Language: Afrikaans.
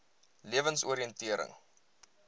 lewensoriëntering